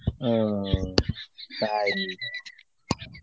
ও, তাই.